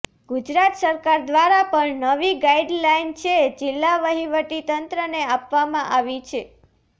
ગુજરાત સરકાર દ્વારા પણ નવી ગાઇડલાઇન છે જિલ્લા વહીવટી તંત્રને આપવામાં આવી છે